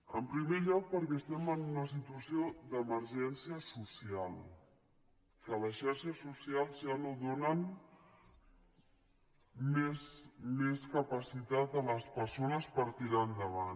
en primer lloc perquè estem en una situació d’emergència social que les xarxes socials ja no donen més capacitat a les persones per tirar endavant